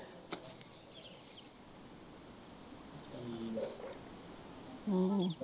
ਹਮ